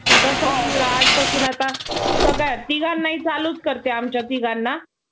आजपासून आता तिघांनाही चालूच करते आमच्या तिघांना.